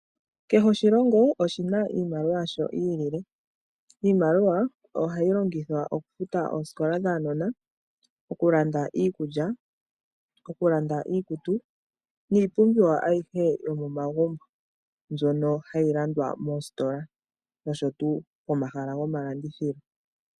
Kehe oshilongo oshina iimaliwa yasho yi ilile. Iimaliwa ohayi longithwa okufuta oosikola dhaanona, okulanda iikulya, okulanda iikutu, niipumbiwa ayihe yomomagumbo, mbyono hayi landwa moositola, noshowo pomahala gomalandithilo.